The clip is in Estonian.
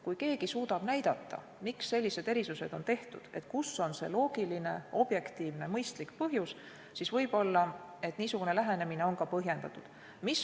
Kui keegi suudab näidata, miks sellised erisused on tehtud, kus on see loogiline, objektiivne, mõistlik põhjus, siis võib olla niisugune lähenemine põhjendatud.